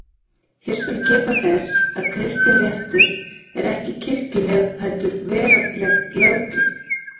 Hér skal þess getið að kristinréttur er ekki kirkjuleg heldur veraldleg löggjöf.